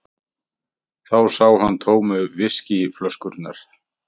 Þá sá hann tómu viskíflöskurnar.